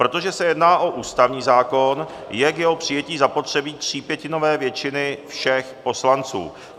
Protože se jedná o ústavní zákon, je k jeho přijetí zapotřebí třípětinové většiny všech poslanců.